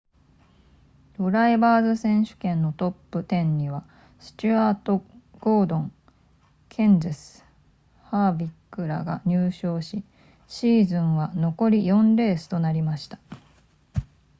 ドライバーズ選手権のトップ10にはスチュアートゴードンケンゼスハーヴィックらが入賞しシーズンは残り4レースとなりました